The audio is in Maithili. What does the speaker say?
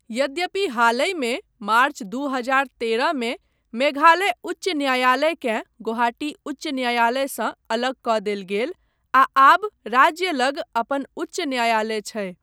यद्यपि हालहिमे मार्च दू हजार तेरह मे मेघालय उच्च न्यायालयकेँ गुवाहाटी उच्च न्यायालयसँ अलग कऽ देल गेल आ आब राज्य लग अपन उच्च न्यायालय छै।